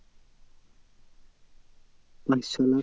পাঁচ ছলাখ